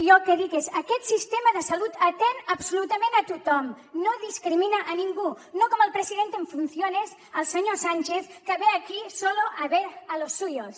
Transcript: jo el que dic és aquest sistema de salut atén absolutament a tothom no discrimina a ningú no com el presidente en funciones el senyor sánchez que ve aquí a ver a los suyos